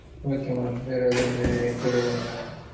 okay mam வேற எதும் enquiry எதும் இருக்கா mam